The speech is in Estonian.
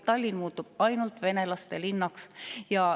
Tallinn muutub ainult venelaste linnaks.